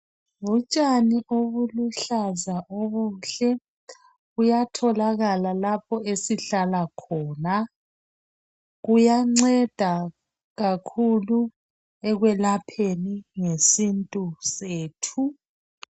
Butshani obuluhlaza obuhle buyatholakala lapho esihlahla khona. Kuyanceda kakhulu ekwelapheni ngesintu sethu.